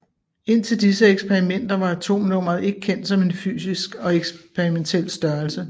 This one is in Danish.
Indtil disse eksperimenter var atomnummeret ikke kendt som en fysisk og eksperimentel størrelse